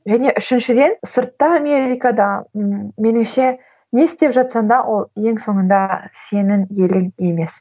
және үшіншіден сыртта америкада ы меніңше не істеп жатсаң да ол ең соңында сенің елің емес